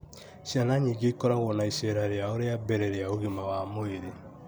ciana nyingĩ ikoragwo na iceera rĩao rĩa mbere rĩa ũgima wa mwĩrĩ.